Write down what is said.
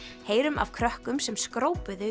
heyrum af krökkum sem